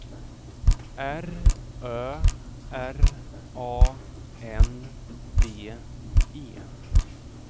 R Ö R A N D E